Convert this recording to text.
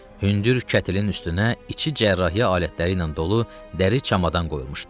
Hündür kətlin üstünə içi cərrahiyyə alətləri ilə dolu dəri çamadan qoyulmuşdu.